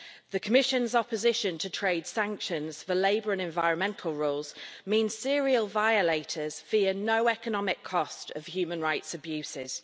The Commission's opposition to trade sanctions for labour and environmental roles means serial violators fear no economic cost of human rights abuses.